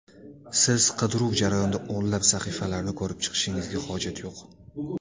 Siz qidiruv jarayonida o‘nlab sahifalarni ko‘rib chiqishingizga hojat yo‘q.